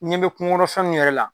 Ɲen be kuŋokɔnɔ fɛn mun yɛrɛ la